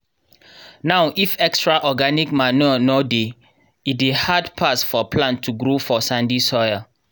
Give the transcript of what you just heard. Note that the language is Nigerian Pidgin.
now if extra organic manure nor dey e dey hard pass for plants to grow for sandy soil